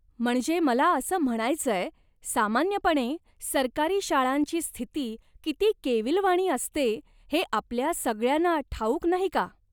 म्हणजे मला असं म्हणायचंय, सामान्यपणे सरकारी शाळांची स्थिती किती केवीलवाणी असते हे आपल्या सगळ्यांना ठाऊक नाही का?